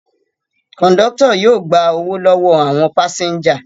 Kọ̀ńdọ́tọ̀ yóò gba owó lọ́wọ́ àwọn pásẹ́ńjà.